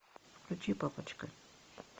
включи папочка